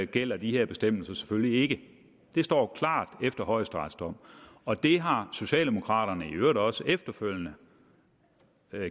gælder de her bestemmelser selvfølgelig ikke det står klart efter højesterets dom og det har socialdemokraterne i øvrigt også efterfølgende